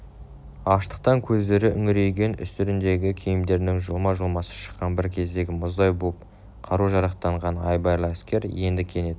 аштықтан көздері үңірейген үстеріндегі киімдерінің жұлма-жұлмасы шыққан бір кездегі мұздай боп қару-жарақтанған айбарлы әскер енді кенет